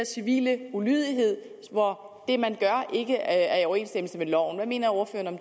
civile ulydighed hvor det man gør ikke er i overensstemmelse med loven hvad mener ordføreren